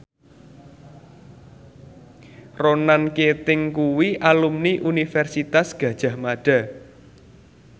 Ronan Keating kuwi alumni Universitas Gadjah Mada